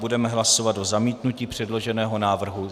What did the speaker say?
Budeme hlasovat o zamítnutí předloženého návrhu.